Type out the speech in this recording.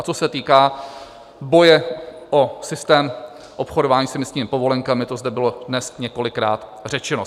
A co se týká boje o systém obchodování s emisními povolenkami, to zde bylo dnes několikrát řečeno.